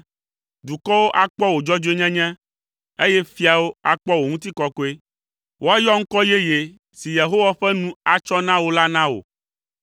Dukɔwo akpɔ wò dzɔdzɔenyenye, eye fiawo akpɔ wò ŋutikɔkɔe. Woayɔ ŋkɔ yeye si Yehowa ƒe nu atsɔ na wò la na wò.